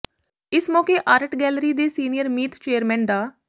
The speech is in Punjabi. ਇਸ ਮੌਕੇ ਆਰਟ ਗੈਲਰੀ ਦੇ ਸੀਨੀਅਰ ਮੀਤ ਚੇਅਰਮੈਨ ਡਾ